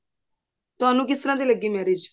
ਤੁਹਾਨੂੰ ਕਿਸ ਤਰ੍ਹਾਂ ਦੀ ਲੱਗੀ marriage